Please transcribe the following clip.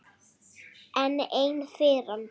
Enn ein firran.